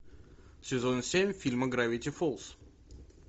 сезон семь фильма гравити фолз